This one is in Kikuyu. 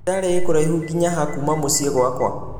kitale I kuraihũ nginya haa kuuma mũciĩ gwakwa